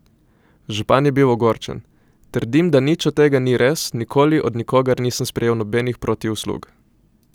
Župan je bil ogorčen: ''Trdim, da nič od tega ni res, nikoli od nikogar nisem sprejel nobenih protiuslug.